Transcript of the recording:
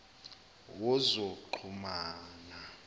wozoxhumana